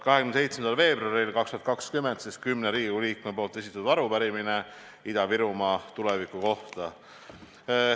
27. veebruaril 2020 esitasid kümme Riigikogu liiget arupärimise Ida-Virumaa tuleviku kohta.